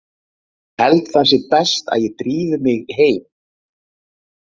Ég held það sé best að ég drífi mig heim.